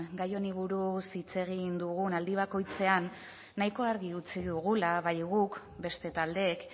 gai honi buruz hitz egin dugun aldi bakoitzean nahiko argi utzi dugula bai guk beste taldeek